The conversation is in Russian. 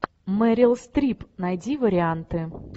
мэрил стрип найди варианты